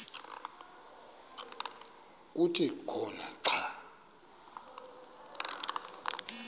kuthi khona xa